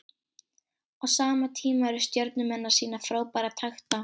Á sama tíma eru Stjörnumenn að sýna frábæra takta.